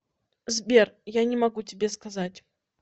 сбер я не могу тебе сказать